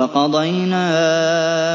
وَقَضَيْنَا